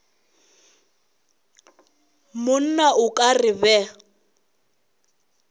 monna o ka re ba